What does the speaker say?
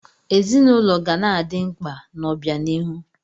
Ezinụlọ ga na-adị mkpa n'obianihu.